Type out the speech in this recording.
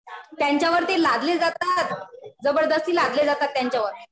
त्यांच्यावर ते लादले जातात. जबरदस्ती लादले जातात त्यांच्यावर.